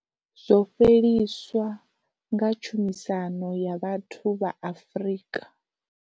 Zwo fheliswa nga tshumisano ya vhathu vha Afrika.